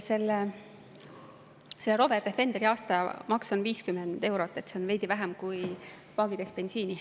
Selle Land Rover Defenderi aastamaks on 50 eurot, see on veidi vähem kui paagitäis bensiini.